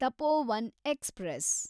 Tapovan express